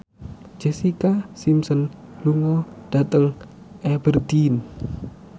Jessica Simpson lunga dhateng Aberdeen